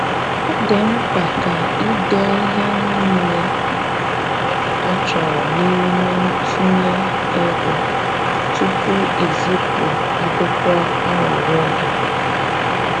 Ọ dị mkpa ka i dee ihe niile a chọrọ n’ime ntụnye ego tupu i zipụ akwụkwọ arịrịọ gị.